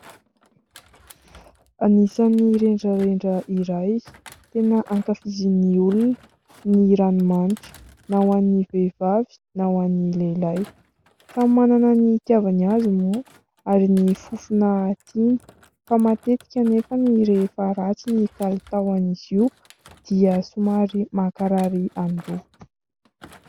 Anisan'ny rendrarendra iray tena ankafizin'ny olona ny ranomanitra, na ho an'ny vehivavy na ho an'ny lehilahy. Samy manana ny itiavany azy moa ary ny fofona tiany, fa matetika anefa rehefa ratsy ny kalitao an'izy io dia somary mankarary andoha.